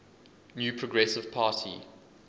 new progressive party